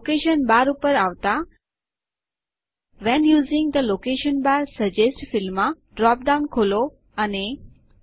location bar ઉપર આવતા when using the location bar suggest ફિલ્ડમાં ડ્રોપ ડાઉન ખોલો અને